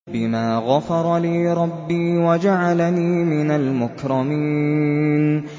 بِمَا غَفَرَ لِي رَبِّي وَجَعَلَنِي مِنَ الْمُكْرَمِينَ